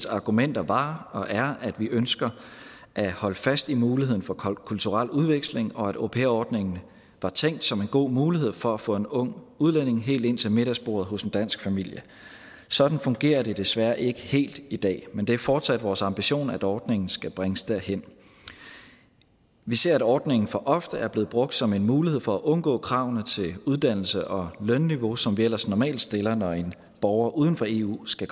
argumenter var og er at vi ønsker at holde fast i muligheden for kulturel udveksling og at au pair ordningen var tænkt som en god mulighed for at få en ung udlænding helt ind til middagsbordet hos en dansk familie sådan fungerer det desværre ikke helt i dag men det er fortsat vores ambition at ordningen skal bringes derhen vi ser at ordningen for ofte er blevet brugt som en mulighed for at undgå kravene til uddannelse og lønniveau som vi ellers normalt stiller når en borger uden for eu skal